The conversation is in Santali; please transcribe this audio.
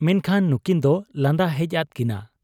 ᱢᱮᱱᱠᱷᱟᱱ ᱱᱩᱠᱤᱱ ᱫᱚ ᱞᱟᱸᱫᱟ ᱦᱮᱡ ᱟᱫ ᱠᱤᱱᱟ ᱾